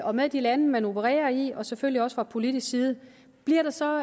og med de lande man opererer i og selvfølgelig også fra politisk side bliver det så